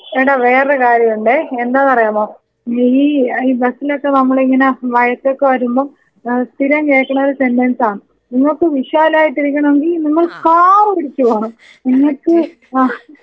എടാ വേറെ കാര്യവുണ്ടേ. എന്താന്ന് അറിയാമോ? നീ ഈ ബസ്സിനൊക്കെ നമ്മളിങ്ങനെ വഴക്കൊക്കെ വരുമ്പോ ഏഹ് സ്ഥിരം കേൾക്കുന്ന ഒരു സെൻഡൻസ. നിങ്ങൾക്ക് വിശാലമായിട്ടിരിക്കണമെങ്കി നിങ്ങൾ കാർ പിടിച്ചുപോണം എന്നിട്ട് ആ.